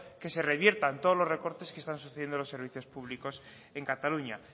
que se reviertan todos los recortes que están sucediendo los servicios públicos en cataluña